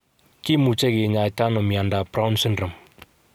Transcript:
Kimuche kinyaita nao miondap Brown syndrome?